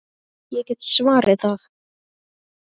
Ég get svarið það.